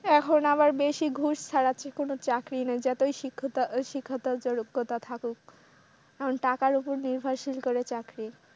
এখন আবার বেশি ঘুষ ছাড়া কোন চাকরি নেই, যতই শিক্ষকতা শিক্ষাগত যোগ্যতা থাকুক। এখন টাকার উপর নির্ভরশীল করে চাকরি।